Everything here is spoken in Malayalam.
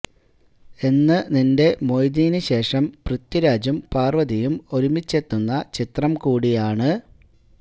എന്ന് നിന്റെ മൊയ്തീന് ശേഷം പൃഥ്വിരാജും പാര്വ്വതിയും ഒരുമിച്ചെത്തുന്ന ചിത്രം കൂടിയാണ്